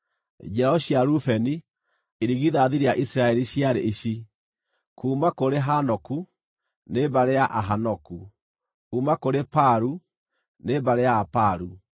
Njiaro cia Rubeni, irigithathi rĩa Isiraeli ciarĩ ici: kuuma kũrĩ Hanoku, nĩ mbarĩ ya Ahanoku; kuuma kũrĩ Palu, nĩ mbarĩ ya Apalu;